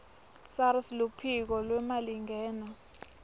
sars luphiko lwemalingena